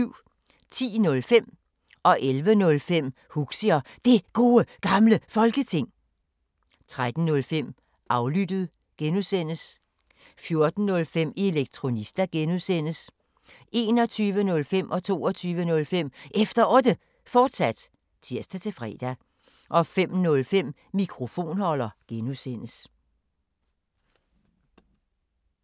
10:05: Huxi og Det Gode Gamle Folketing 11:05: Huxi og Det Gode Gamle Folketing, fortsat 13:05: Aflyttet G) 14:05: Elektronista (G) 21:05: Efter Otte, fortsat (tir-fre) 22:05: Efter Otte, fortsat (tir-fre) 05:05: Mikrofonholder (G)